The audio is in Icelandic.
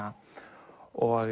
og